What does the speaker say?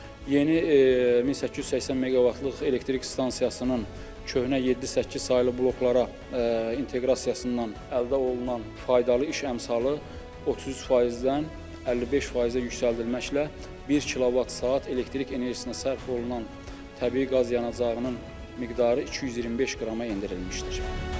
Yeni 1880 meqavatlıq elektrik stansiyasının köhnə 7-8 saylı bloklara inteqrasiyasından əldə olunan faydalı iş əmsalı 33%-dən 55%-ə yüksəldilməklə 1 kilovat saat elektrik enerjisinə sərf olunan təbii qaz yanacağının miqdarı 225 qrama endirilmişdir.